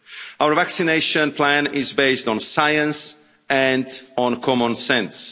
Our vaccination plan is based on science and on common sense.